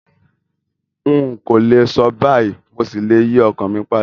N kòlè so báyìí, mo ṣí le yi ọkan mi padà